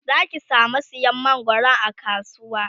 Zaki samu sayan mangwaron a kasuwa